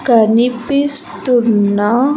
కనిపిస్తున్నా.